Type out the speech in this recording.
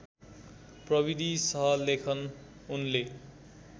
प्रविधि सहलेखन उनले